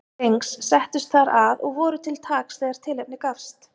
Drengs, settust þar að og voru til taks þegar tilefni gafst.